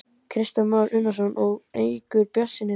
Kristján Már Unnarsson: Og eykur ykkar bjartsýni þar með?